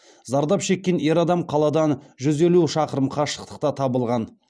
зардап шеккен ер адам қаладан жүз елу шақырым қашықтықта табылған